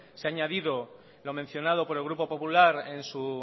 se ha añadido lo mencionado por el grupo popular en su